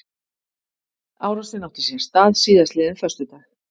Árásin átti sér stað síðastliðinn föstudag